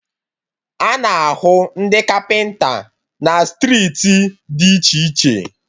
A na-ahụ ndị kapịnta na striiti dị iche iche